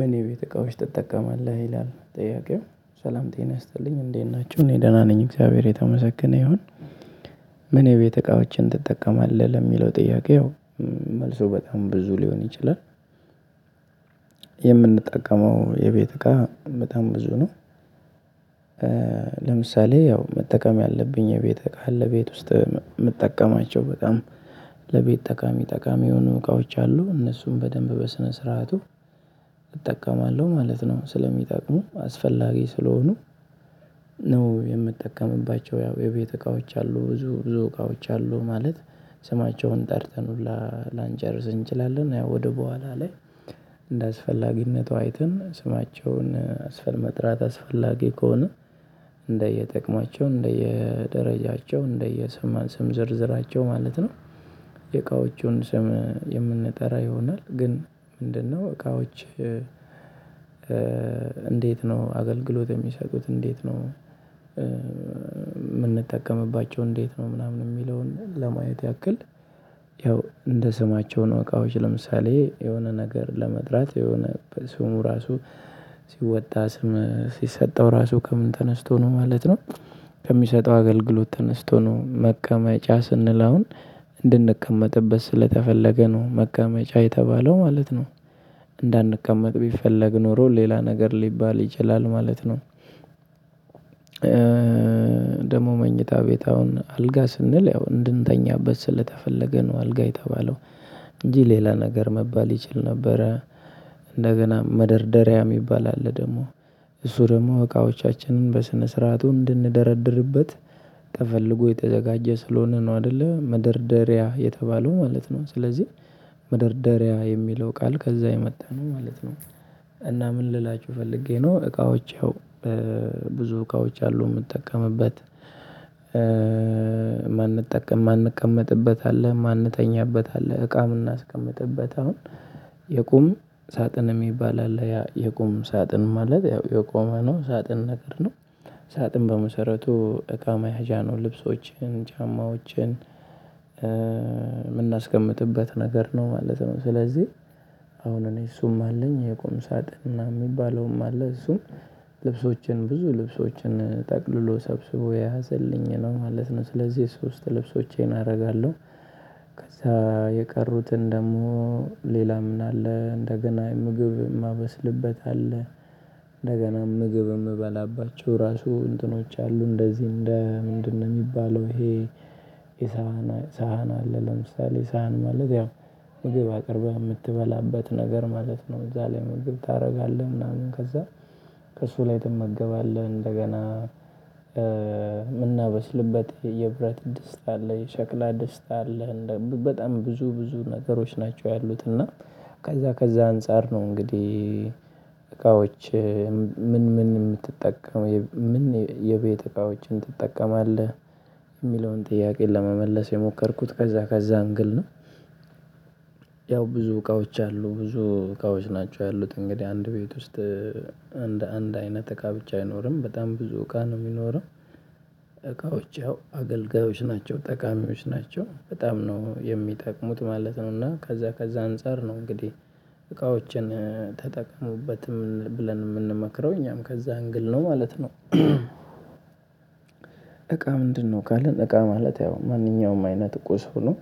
ምን የቤት እቃዎች ትጠቀማለህ ይላል ጥያቄው ሰላም ጤና ይስጥልኝ እንዴት ናችሁ እኔ ደህና ነኝ እግዚአብሔር የተመሰገነ ይሁን። ምን የቤት እቃዎችን ትጠቀማለህ ለሚለው ጥያቄው መልሱ በጣም ብዙ ሊሆን ይችላል። የምንጠቀመው የቤት እቃ በጣም ብዙ ነው። ለምሳሌ ያው መጠቀም ያለብኝ የቤት እቃ አለ ቤት ውስጥ የምጠቀማቸው በጣም ለቤት ጠቃሚ ጠቃሚ የሆኑ እቃዎች አሉ እነሱም በደንብ በስነ ስርዓቱ እጠቀማለሁ ማለት ነው። ስለሚጠቅሙ አስፈላጊ ስለሆኑ ነው። የምጠቀምባቸው ያው የቤት እቃዎች አሉ ብዙ ብዙ እቃዎች አሉ ማለት ስማቸውን ጠርተን ሁላ ላንጨርስ እንችላለን። ያው ወደ በኋላ ላይ እንደ አስፈላጊነቷ አይተን ስማቸውን አስፈል መጥራት አስፈላጊ ከሆነ እንደየጥቅማቸው እንደየደረጃቸው እንደየሰማን ስም ዝርዝራቸው ማለት ነው። የእቃዎቹን ስም የምንጠራ ይሆናል ግን ምንድነው እቃዎች? እንዴት ነው አገልግሎት የሚሰጡት እንዴት ነው? የምንጠቀምባቸው እንዴት ነው ምናምን የሚለውን ለማየት ያክል ያው እንደ ስማቸው ነው። እቃዎች ለምሳሌ የሆነ ነገር ለመጥራት የሆነ በስሙ ራሱ ሲወጣ ስም ሲሰጠው ራሱ ከምን ተነስቶ ነው ማለት ነው። ከሚሰጠው አገልግሎት ተነስቶ ነው መቀመጫ ስንል አሁን እንድንቀመጥበት ስለተፈለገ ነው መቀመጫ የተባለው ማለት ነው። እንዳንቀመጥ ቢፈለግ ኖሮ ሌላ ነገር ሊባል ይችላል ማለት ነው። ደግሞ መኝታ ቤት አሁን አልጋ ስንል ያው እንድንተኛበት ስለተፈለገ ነው አልጋ የተባለው። እንጂ ሌላ ነገር መባል ይችል ነበረ። እንደገና መደርደሪያ የሚባል አለ ደግሞ እሱ ደግሞ እቃዎቻችንን በስነ ስርዓቱ እንድንደረድርበት ተፈልጎ የተዘጋጀ ስለሆነ ነው አይደለ መደርደሪያ የተባለው ማለት ነው። ስለዚህ መደርደሪያ የሚለው ቃል ከዛ የመጣ ማለት ነው። እና ምን ልላችሁ ፈልጌ ነው እቃዎች ያው ብዙ እቃዎች አሉ። የምጠቀምበት የማንጠቀም የማንቀመጥበት አለ የማንተኛበት አለ እቃም ምናስቀምጥበት አሁን የቁም ሳጥን የሚባል አለ። ያ የቁም ሳጥን ማለት ያው የቆመ ነው ሳጥን ነገር ነው። ሳጥን በመሰረቱ እቃ መያዣ ነው ልብሶችን ጫማዎችን የምናስቀምጥበት ነገር ነው ማለት ነው። ስለዚህ አሁን እኔ እሱም አለኝ የቆም ሳጥን የሚባለውም አለ እሱም ልብሶችን ብዙ ልብሶችን ጠቅልሎ ሰብስቦ የያዘልኝ ነው ማለት ነው። ስለዚህ ሶስት ልብሶቼን አደርጋለሁ ከዛ የቀሩትን ደግሞ ሌላ ምን አለ እንደገና ምግብ የማበስልበት አለ። እንደገና ምግብ የምበላባቸው ራሱ እንትኖች አሉ እንደዚህ እንደ ምንድነው የሚባለው ይሄ የሳህን ሳህን አለ ለምሳሌ ሳህን ማለት ያው ምግብ አቅርበህ የምትበላበት ነገር ማለት ነው። እዛ ላይ መግብ ታደርጋለህ ምናምን ከዛ ከእሱ ላይ ትመገባለህ። እንደገና የምናበስልበት የብረት ድስታ አለ የሸክላ ድስታ አለ በጣም ብዙ ብዙ ነገሮች ናቸው ያሉት። እና ከዛ ከዛ አንፃር ነው እንግዲህ እቃዎች ምን ምን የምትጠቀም ምን የቤት እቃዎችን ትጠቀማለህ? የሚለውን ጥያቄ ለመመለስ የሞከርኩት ከዛ ከዛ አንግል ነው ያው ብዙ እቃዎች አሉ ብዙ እቃዎች ናቸው ያሉት። እንግዲህ አንድ ቤት ውስጥ አንድ አንድ አይነት እቃ ብቻ አይኖርም በጣም ብዙ እቃ ነው የሚኖረው። እቃዎች አገልጋዮች ናቸው ጠቃሚዎች ናቸው በጣም ነው የሚጠቅሙት ማለት ነው። እና ከዛ ከዛ አንፃር ነው እንግዲህ እቃዎችን ተጠቅሙበትም ብለን የምንመክረው እኛም ከዛ አንግል ነው ማለት ነው። እቃ ምንድነው ካለን እቃ ማለት ያው ማንኛውም አይነት ቁስ ሰው ነው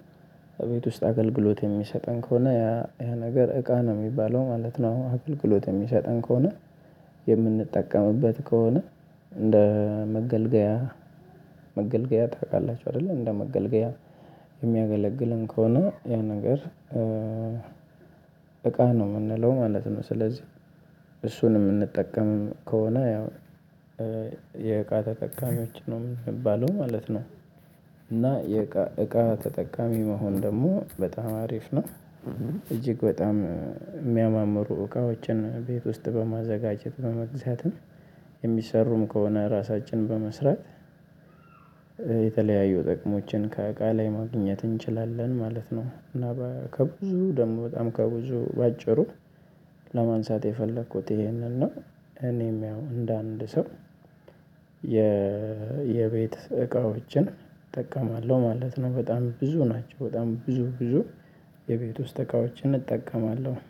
እቤት ውስጥ አገልግሎት የሚሰጠን ከሆነ ያ ያ ነገር እቃ ነው የሚባለው ማለት ነው። አገልግሎት የሚሰጠን ከሆነ የምንጠቀምበት ከሆነ እንደ መገልገያ መገልገያ ታውቃላችሁ አይደለ እንደ መገልገያ የሚያገለግልን ከሆነ ያ ነገር እቃ ነው የምንለው ማለት ነው። ስለዚህ እሱን የምንጠቀምም ከሆነ ያው የእቃ ተጠቃሚዎች ነው የምንባለው ማለት ነው። እና የእቃ ተጠቃሚ መሆን ደግሞ በጣም አሪፍ ነው። እጅግ በጣም የሚያማምሩ እቃዎችን ቤት ውስጥ በማዘጋጀት በመግዛትም የሚሰሩም ከሆነ ራሳችን በመስራት የተለያዩ ጥቅሞችን ከእቃ ላይ ማግኘት እንችላለን ማለት ነው። እና ከብዙ ደግሞ በጣም ከብዙ በአጭሩ ለማንሳት የፈለኩት ይሄንን ነው። እኔም ያው እንደ አንድ ሰው የቤት እቃዎችን እጠቀማለሁ ማለት ነው። በጣም ብዙ ናቸው በጣም ብዙ ብዙ የቤት ውስጥ እቃዎችን እጠቀማለሁ